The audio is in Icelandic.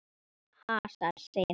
Hasar, segir hann.